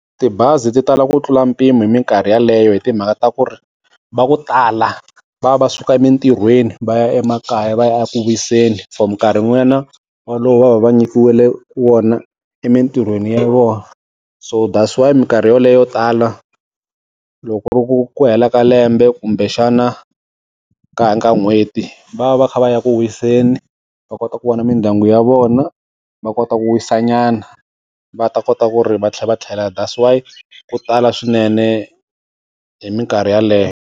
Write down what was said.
Tibazi ti tala ku tlula mpimo hi minkarhi yeleyo hi timhaka ta ku ri, va ku tala va va suka emintirhweni va ya emakaya va ya eku kuriseni for minkarhi walowo va va va nyikiwile wona emintirhweni ya vona. So thats why hi minkarhi yoleyo tala, loko ku ri ku hela ka lembe kumbexana ka ka n'hweti, va ya va kha va ya ku wiseni va kota ku vona mindyangu ya vona, va kota ku wisa nyana, va ta kota ku ri va tlhela va tlhela. That's why ku tala swinene hi minkarhi yaleyo.